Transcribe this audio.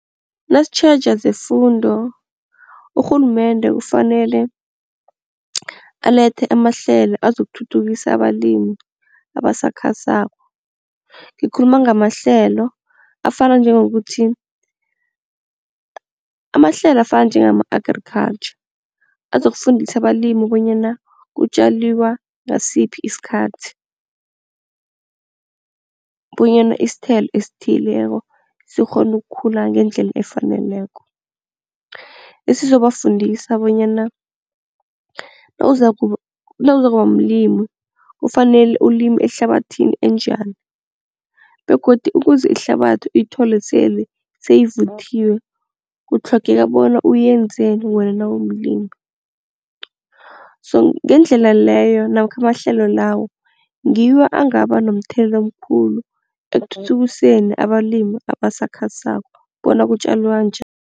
Nasitjheja zefundo urhulumende kufanele alethe amahlelo azokuthuthukisa abalimi abasakhasako. Ngikhuluma ngamahlelo afana njengokuthi, amahlelo afana njengama-agriculture azokufundisa abalimi bonyana kutjaliwa ngasiphi isikhathi, bonyana isithelo esithileko sikghone ukukhula ngendlela efaneleko. Esizobafundisa bonyana nawuzakuba mlimi kufanele ulime ehlabathini enjani begodu ukuze ihlabathi uyithole sele seyivuthiwe kutlhogeka bona uyenzeni wena nawumlimi. So ngendlela leyo namkha amahlelo lawo ngiwo angaba nomthelela omkhulu ekuthuthukiseni abalimi abasakhasako bona kutjalwa njani.